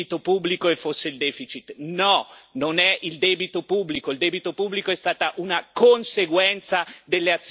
il debito pubblico è stato una conseguenza delle azioni scellerate dell'asimmetria che l'euro ha portato all'interno dell'Unione europea.